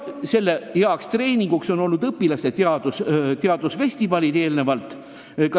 Selle ürituse heaks treeninguks on olnud varasemad õpilaste teadusfestivalid.